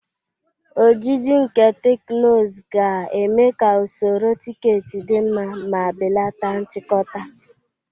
Ojiji nke teknụzụ ga-eme ka usoro tiketi dị mma ma belata nchikota.